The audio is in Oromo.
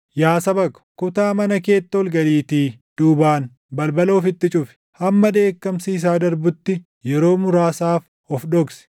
Yaa saba ko, kutaa mana keetti ol galiitii duubaan balbala ofitti cufi; hamma dheekkamsi isaa darbutti, yeroo muraasaaf of dhoksi.